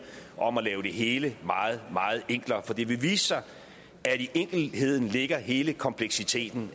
om at lave det hele meget meget enklere for det vil vise sig at i enkelheden ligger hele kompleksiteten